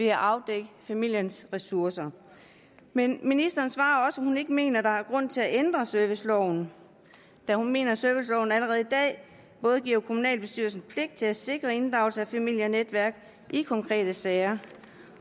at afdække familiens ressourcer men ministeren svarer også at hun ikke mener at der er grund til at ændre serviceloven da hun mener at serviceloven allerede i dag giver kommunalbestyrelsen pligt til både at sikre inddragelse af familie og netværk i konkrete sager